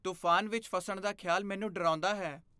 ਤੂਫ਼ਾਨ ਵਿੱਚ ਫਸਣ ਦਾ ਖ਼ਿਆਲ ਮੈਨੂੰ ਡਰਾਉਂਦਾ ਹੈ।